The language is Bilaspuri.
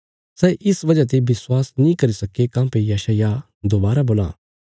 सै इस वजह ते विश्वास नीं करी सक्के काँह्भई यशायाह दोबारा बोलां